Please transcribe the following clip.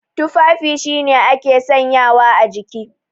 Tufafi shine ake sanyawa a jiki.